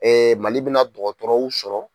Mali bɛna dɔgɔtɔrɔw sɔrɔ.